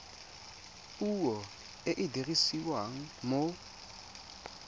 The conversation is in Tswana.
puo e e dirisiwang mo